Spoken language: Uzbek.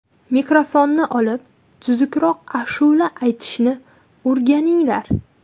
Mikrofonni olib, tuzukroq ashula aytishni o‘rganinglar.